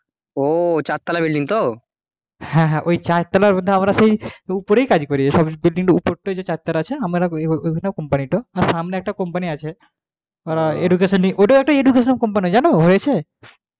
হ্যাঁ হ্যাঁ ঐ চারতলা পর্যন্ত আমরা সেই উপরেই কাজ করি সব building টার উপরটায় যে চারতলা আছে আমরাও ঐখানেই company টো সামনে একটা company আছে education নিয়ে ওটাও একটা education company জান হয়েছে,